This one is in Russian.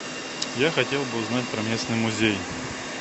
я хотел бы узнать про местный музей